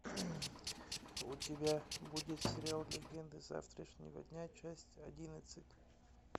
у тебя будет сериал легенды завтрашнего дня часть одиннадцать